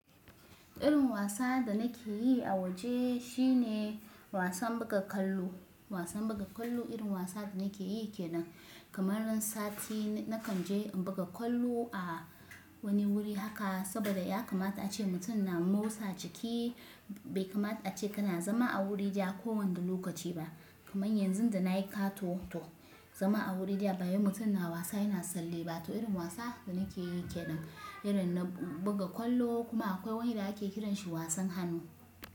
Irin wasa da nake yi a waje shine wasan buga kwallo. Wasan buga kwallo irin wasan da nake yi ke nan. Kamar nan sati nakan je in buga kwallo a wani wuri haka saboda ya kamata ace mutum na motsa jiki. Bai kamata ace kana zama a wuri daya ko wanda lokaci ba. Kamar yanzu da na yi kato to zama a wuri daya, bayi mutum na wasa yana salle ba. To irin wasa da nake yi ke nan, irin na buga kwallo kuma akwai wani da ake kiran shi wasan hannu.